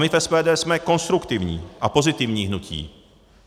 My v SPD jsme konstruktivní a pozitivní hnutí.